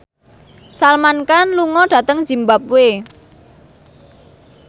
Salman Khan lunga dhateng zimbabwe